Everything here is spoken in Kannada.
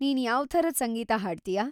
ನೀನ್‌ ಯಾವ್ ಥರದ್‌ ಸಂಗೀತ ಹಾಡ್ತೀಯಾ?